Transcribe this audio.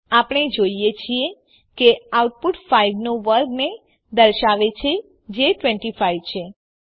આપણે જોઈએ છીએ કે આઉટપુટ ૫ નો વર્ગને દર્શાવે છે જે ૨૫ છે